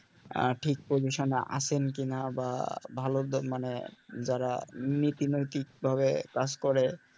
আহ ঠিক position এ আছেন কিনা বা ভালো মানে যারা নীতি নৈতিকভাবে কাজ করে